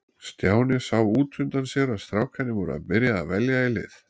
Stjáni sá út undan sér að strákarnir voru að byrja að velja í lið.